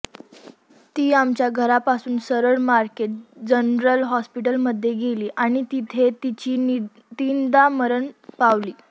ती आमच्या घरापासून सरळ मारकेट जनरल हॉस्पिटलमध्ये गेली आणि तिथे तिची तीनदा मरण पावली